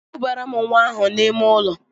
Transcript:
Kubaara m nwa ahụ n'ime ụlọ!